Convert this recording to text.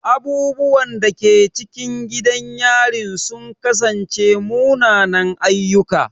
Abubuwan da ke cikin gidan yarin sun kasance munanan ayyuka.